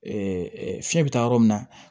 fiɲɛ bɛ taa yɔrɔ min na